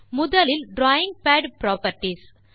முதலில் drawing pad properties